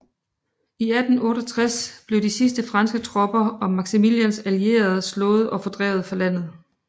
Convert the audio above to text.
I 1867 blev de sidste franske tropper og Maximilians allierede slået og fordrevet fra landet